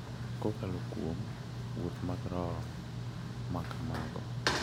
Kokalo kuom “wuoth mag roho” ma kamago, .